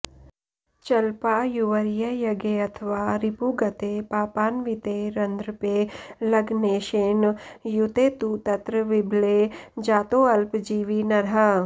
चल्पायुर्व्ययगेऽथवा रिपुगते पापान्विते रन्ध्रपे लग्नेशेन युते तु तत्र विबले जातोऽल्पजीवी नरः